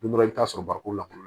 Don dɔ i bɛ taa sɔrɔ barikon la kɔnɔ